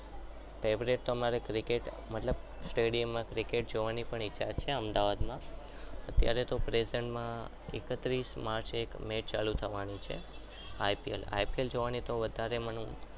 Favourite તો અમારે મિસકે favourite ટુ cricket જોવાની પણ ઈચ્છા છે stadium માં જોવાની ઈચ્છા છે અમદાવાદમાં અત્યારે તો present માં એકત્રીસ માર્ચ મે એ ચાલુ થવાની છે આઈ પી એલ જોવાનું તો મને બહુ જ શોખ છે.